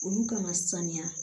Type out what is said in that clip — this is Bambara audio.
Olu kana saniya